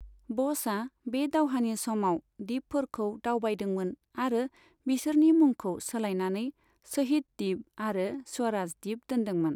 ब'सआ बे दावहानि समाव दिपफोरखौ दावबायदोंमोन आरो बिसोरनि मुंखौ सोलायनानै शहीद द्वीप आरो स्वराज द्वीप दोनदोंमोन।